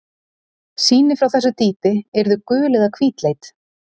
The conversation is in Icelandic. Sýni frá þessu dýpi yrðu gul eða hvítleit.